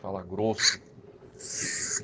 Fala grosso.